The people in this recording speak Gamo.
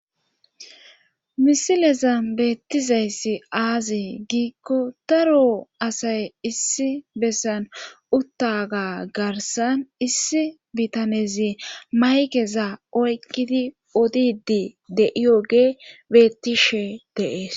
misileza beettizayssi aazi giikko taro asay issi bessan uttaga garsan issi bitanezi maykeza oykkidi odidi deiyoge beettishe deees